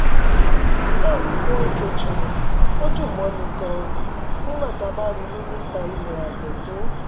frank nweke jr ó dùn mọ́ni gan-an nígbà tá a bá ronú nípa ilẹ̀ àgbẹ̀ tó